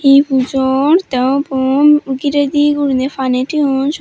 hi pujo or tey ubon giredey guriney pani toyoun syot.